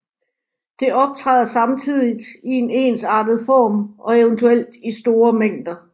Det optræder samtidigt i en ensartet form og eventuelt i store mængder